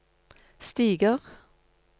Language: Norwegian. stiger